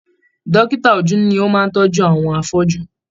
Dókítà ojú ni o máa n tọjú àwọn afọju.